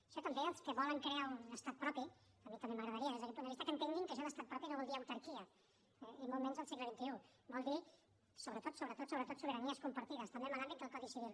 això també els que volen crear un estat propi a mi també m’agradaria des d’aquest punt de vista que entenguin que això d’estat propi no vol dir autarquia i molt menys al segle xxi vol dir sobretot sobretot sobiranies compartides també en l’àmbit del codi civil